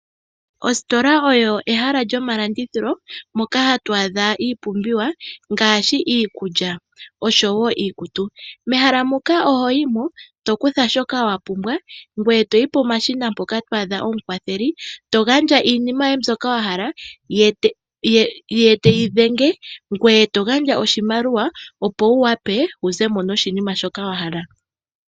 Ositola oyo ehala lyomalandithilo moka hatu adha iipumbiwa ngaashi iikulya oshowo iikutu, mehaha moka oho yi mo tokutha shoka wapumbwa ngwee toyi pomashina mpoka to adha omukwatheli togandja iinima yoye mbyoka wahala ye teyi dhenge ngwee to gandja oshimaliwa opo wu wape wuzemo noshinima shoka wahala.